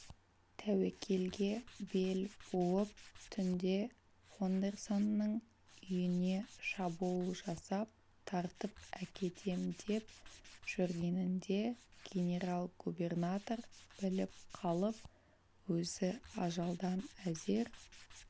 тәуекелге бел буып түнде фондерсонның үйіне шабуыл жасап тартып әкетем деп жүргенінде генерал-губернатор біліп қалып өзі ажалдан әзер